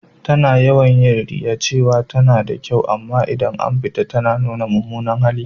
Ta na yawan yi riya cewa ta na da kyau a gida, amma idan ta fita ta na nuna mumunar hali.